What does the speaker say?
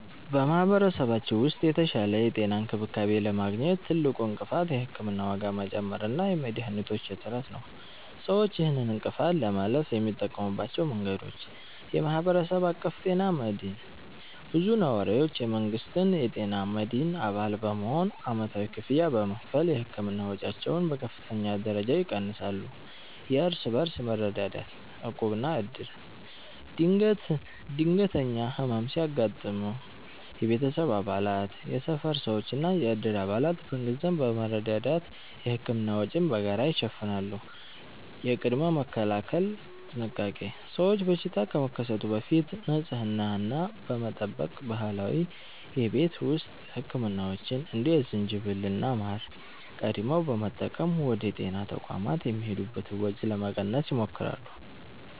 በማኅበረሰባችን ውስጥ የተሻለ የጤና እንክብካቤ ለማግኘት ትልቁ እንቅፋት የሕክምና ዋጋ መጨመር እና የመድኃኒቶች እጥረት ነው። ሰዎች ይህንን እንቅፋት ለማለፍ የሚጠቀሙባቸው መንገዶች፦ የማኅበረሰብ አቀፍ ጤና መድህን (CBHI)፦ ብዙ ነዋሪዎች የመንግሥትን የጤና መድህን አባል በመሆን ዓመታዊ ክፍያ በመክፈል የሕክምና ወጪያቸውን በከፍተኛ ደረጃ ይቀንሳሉ። የእርስ በርስ መረዳዳት (ዕቁብና ዕድር)፦ ድንገተኛ ሕመም ሲያጋጥም የቤተሰብ አባላት፣ የሰፈር ሰዎችና የዕድር አባላት በገንዘብ በመረዳዳት የሕክምና ወጪን በጋራ ይሸፍናሉ። የቅድመ-መከላከል ጥንቃቄ፦ ሰዎች በሽታ ከመከሰቱ በፊት ንጽህናን በመጠበቅ እና ባህላዊ የቤት ውስጥ ሕክምናዎችን (እንደ ዝንጅብልና ማር) ቀድመው በመጠቀም ወደ ጤና ተቋማት የሚሄዱበትን ወጪ ለመቀነስ ይሞክራሉ።